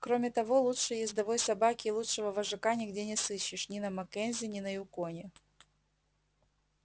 кроме того лучшей ездовой собаки и лучшего вожака нигде не сыщешь ни на маккензи ни на юконе